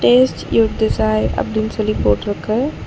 Taste you desire அப்டினு சொல்லி போட்ருக்கு.